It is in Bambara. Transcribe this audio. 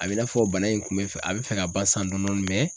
A bɛ i n'a fɔ bana in kun bɛ fɛ a bɛ fɛ ka ban san dɔɔnin dɔɔnin .